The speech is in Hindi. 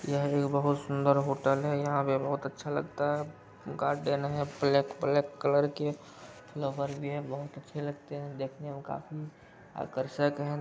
यहाँ एक बहुत सुंदर होटल है। यहाँ पर बहुत अच्छा लगता है गार्डन है ब्लैक - ब्लैक कलर के लवर भी हैं। बहुत अच्छे लगते हैं देखने में काफी आकर्षक है।